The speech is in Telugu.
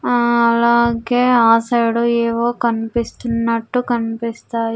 ఆ అలాగే ఆ సైడ్ ఏవో కనిపిస్తున్నట్టు కనిపిస్తాయి.